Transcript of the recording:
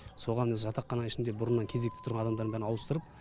соған жатақхананың ішінде бұрыннан кезекте тұрған адамдардың бәрін ауыстырып